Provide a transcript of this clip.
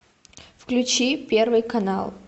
включи первый канал